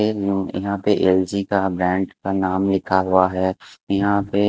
एक यहाँ पे एल_जी का ब्रँड का नाम लिखा हुवा हैं। यहाँ पे--